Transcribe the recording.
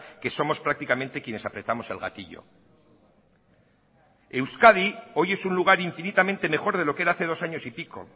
que somos prácticamente quienes apretamos el gatillo euskadi hoy es un lugar infinitamente mejor de lo que erá hace dos años y pico